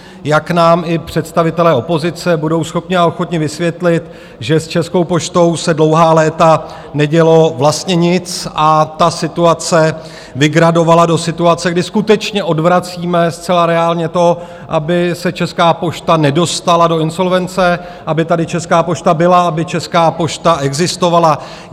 Jak nám i představitelé opozice budou schopni a ochotni vysvětlit, že s Českou poštou se dlouhá léta nedělo vlastně nic, a ta situace vygradovala do situace, kdy skutečně odvracíme zcela reálně to, aby se Česká pošta nedostala do insolvence, aby tady Česká pošta byla, aby Česká pošta existovala.